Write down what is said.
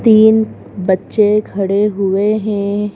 तीन बच्चे खड़े हुए हैं।